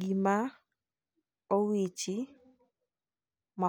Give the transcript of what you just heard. gima owichi ma .